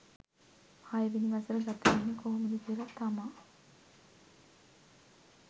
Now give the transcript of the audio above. හයවෙනි වසර ගත වෙන්නේ කොහොමද කියලා තමා